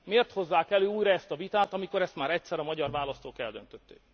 Miért hozzák elő újra ezt a vitát, amikor ezt már egyszer a magyar választók eldöntötték.